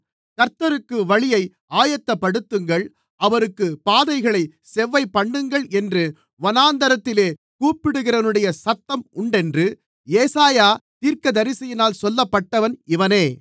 கர்த்தருக்கு வழியை ஆயத்தப்படுத்துங்கள் அவருக்குப் பாதைகளைச் செவ்வைபண்ணுங்கள் என்று வனாந்திரத்திலே கூப்பிடுகிறவனுடைய சத்தம் உண்டென்று ஏசாயா தீர்க்கதரிசியினால் சொல்லப்பட்டவன் இவனே